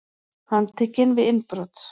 Handtekinn við innbrot